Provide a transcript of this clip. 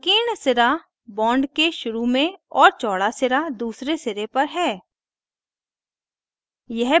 संकीर्ण सिरा bond के शुरू में और चौड़ा सिरा दूसरे सिरे पर है